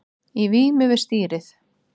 Í vímu við stýrið